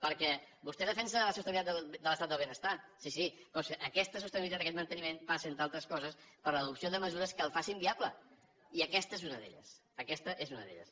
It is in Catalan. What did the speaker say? perquè vostè defensa la sostenibilitat de l’estat del benestar sí sí però aquesta sostenibilitat aquest manteniment passen entre altres coses per l’adopció de mesures que el faci viable i aquesta és una d’elles aquesta és una d’elles